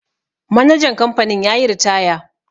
manajan kamfanin ya yi ritaya